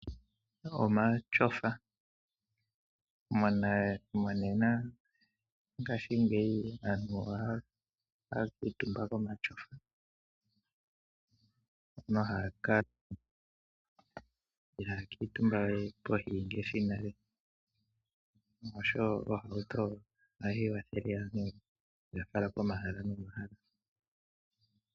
Omashofa, monena ngashingeyi aantu ohaya kuutumba ko mashofa. Ihaya kuutumba we pevii ngaashi nale osho wo ohauto ohayi kwathele aantu okuya fala po mahala no mahala.